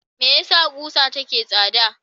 Me yasa kusa take tsada?